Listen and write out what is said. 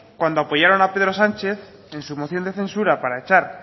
cuando apoyaron a pedro sánchez en su moción de censura para echar